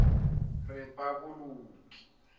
repaboliki